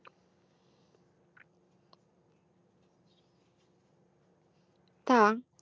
তা